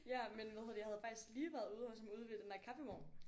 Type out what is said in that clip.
Ja men hvad hedder det jeg havde faktisk lige været ude hos ude ved den der kaffevogn